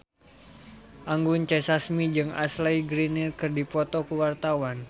Anggun C. Sasmi jeung Ashley Greene keur dipoto ku wartawan